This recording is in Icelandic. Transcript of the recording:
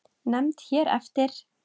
Nefnd hér eftir